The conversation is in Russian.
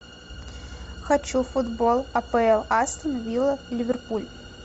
хочу футбол апл астон вилла ливерпуль